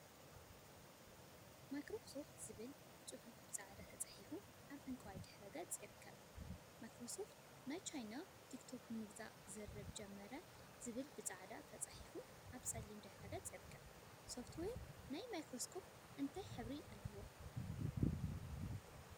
ማይክሮሶፍት ዝብል ፅሑፍ ብፃዕዳ ተፃሒፉ አብ ዕንቋይ ድሕረ ገፅ ይርከብ፡፡ ማይክሮሶፍት ናይ ቻይና ቲክቶክ ንምግዛእ ዝርርብ ጀመረ ዝብል ብፃዕዳ ተፃሒፉ አብ ፀሊም ድሕረ ገፅ ይርከብ፡፡ ሶፍትዌር ናይ ማክሮስኮፕ እንታይ ሕብሪ አለዎ?